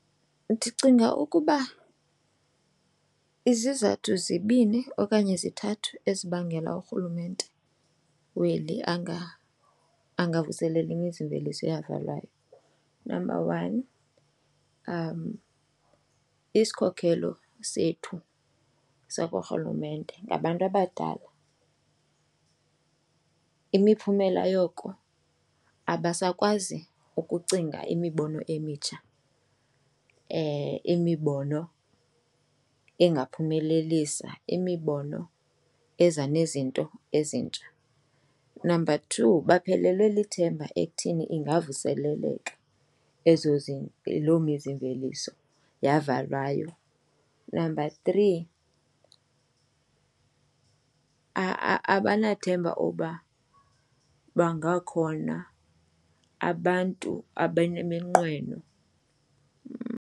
Ndicinga ukuba izizathu zibini okanye zithathu ezibangela uRhulumente weli angavuseleli imizimveliso eyavalwayo. Number one, isikhokhelo sethu sakuRhulumente ngabantu abadala, imiphumela yoko abasakwazi ukucinga imibono emitsha, imibono engaphumelelisa, imibono eza nezinto ezintsha. Number two, baphelelwe lithemba ekuthini ingavuseleleka ezo loo mizimveliso yavalwayo. Number three, abanethemba uba bangakhona abantu abaneminqweno.